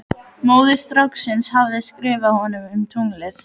Móðir stráksins hafði skrifað honum um tunglið.